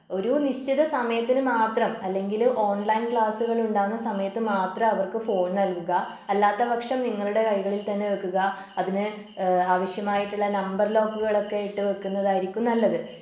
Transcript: ഒരു നിശ്ചിത സമയത്തിന് മാത്രം അല്ലെങ്കില് ഓൺലൈൻ ക്ലാസുകൾ ഉണ്ടാവുന്ന സമയത്ത് മാത്രം അവർക്ക് ഫോൺ നൽകുക അല്ലാത്തപക്ഷം നിങ്ങളുടെ കൈകളിൽ തന്നെ വെക്കുക അതിന് ഏഹ് ആവശ്യമായിട്ടുള്ള നമ്പർ ലോക്കുകളൊക്കെ ഇട്ടു വെക്കുന്നതായിരിക്കും നല്ലത്